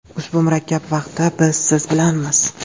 Ushbu murakkab vaqtda biz siz bilanmiz.